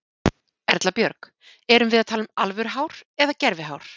Erla Björg: Erum við að tala um alvöru hár eða gervi hár?